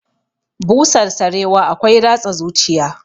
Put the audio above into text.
Busar sarewa akwai ratsa zuciya